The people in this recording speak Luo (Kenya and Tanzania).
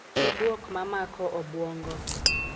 Ki buok mamaoko obuongo.